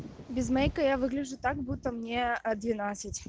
без мейка я выгляжу так будто мне а двенадцать